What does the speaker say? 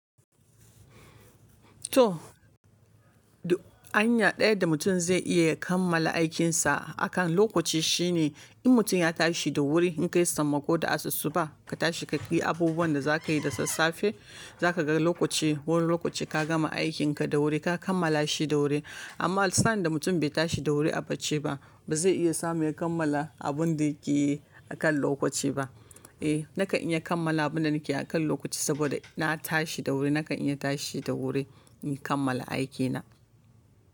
To, hanya ɗaya da mutum zai iya kammala aikinsa akan lokaci shine in mutum ya tashi da wuri in kai sammako da asussuba ka tashi ka yi abubuwan da za ka yi da sassafe za ka ga lokaci wani lokaci ka gama aikin ka da wuri ka kammala shi da wuri. Amma san da mutum bai tashi da wuri a bacci ba bazai iya samun ya kammala abun da yake yi akan lokaci ba. Eh, nakan iya kammala abunda nike yi akan lokaci saboda na tashi da wuri nakan iya tashi da wuri in kammala aikina.